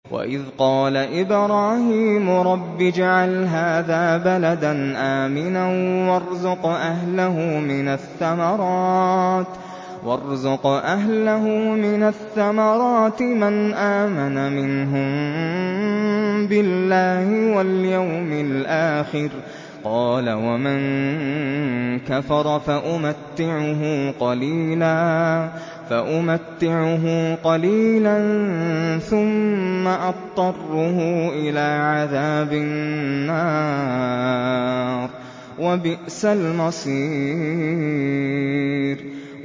وَإِذْ قَالَ إِبْرَاهِيمُ رَبِّ اجْعَلْ هَٰذَا بَلَدًا آمِنًا وَارْزُقْ أَهْلَهُ مِنَ الثَّمَرَاتِ مَنْ آمَنَ مِنْهُم بِاللَّهِ وَالْيَوْمِ الْآخِرِ ۖ قَالَ وَمَن كَفَرَ فَأُمَتِّعُهُ قَلِيلًا ثُمَّ أَضْطَرُّهُ إِلَىٰ عَذَابِ النَّارِ ۖ وَبِئْسَ الْمَصِيرُ